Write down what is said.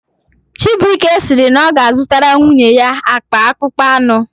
Chibuike sịrị na ọ ga-azụtara nwunye ya akpa akpụkpọ anụ